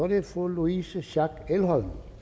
det fru louise schack elholm